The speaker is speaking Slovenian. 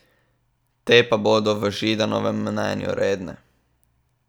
Te pa bodo po Židanovem mnenju redne.